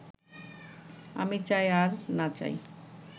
আমি চাই আর না চাই